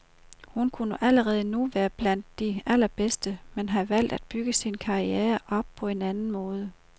Hun kunne allerede nu være med blandt de allerbedste, men har valgt at bygge sin karriere op på en anden måde.